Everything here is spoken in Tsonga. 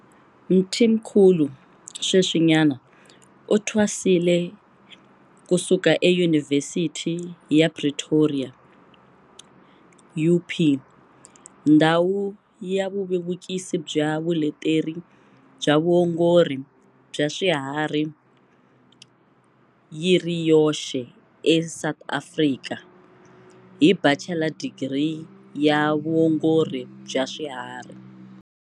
Mthimkhulu sweswinyana u thwasile ku suka eYunivhesithi ya Pretoria, UP, ndhawu ya vuvevukisi bya vuleteri bya vuongori bya swiharhi yi ri yoxe eSA, hi Bachela Digiri ya Vuongori bya Swiharhi.